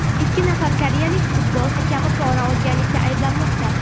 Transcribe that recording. Ikki nafar koreyalik futbol hakami pora olganlikda ayblanmoqda.